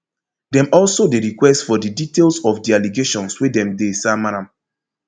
dem also dey request for di details of di allegations wey dem dey sama am